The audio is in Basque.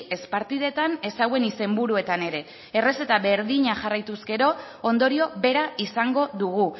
ez partidetan ez hauen izenburuetan ere errezeta berdina jarraituz gero ondorio bera izango dugu